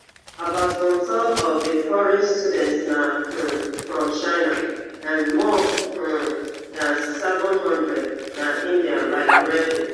about one third of di foreign students na um from china and more um dan seven hundred na indian like reddy